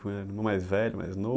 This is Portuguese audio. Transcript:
irmão mais velho, mais